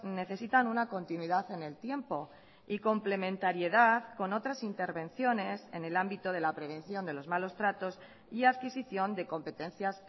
necesitan una continuidad en el tiempo y complementariedad con otras intervenciones en el ámbito de la prevención de los malos tratos y adquisición de competencias